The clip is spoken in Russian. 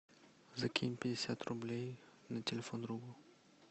закинь пятьдесят рублей на телефон другу